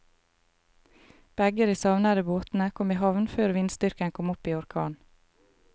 Begge de savnede båtene kom i havn før vindstyrken kom opp i orkan.